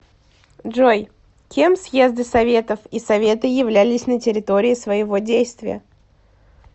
джой кем съезды советов и советы являлись на территории своего действия